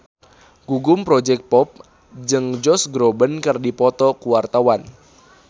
Gugum Project Pop jeung Josh Groban keur dipoto ku wartawan